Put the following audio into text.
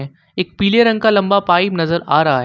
एक पीले रंग का लंबा पाइप नजर आ रहा है।